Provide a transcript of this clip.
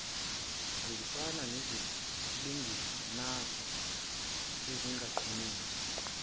hambisana nezilinganiso ezinqumeka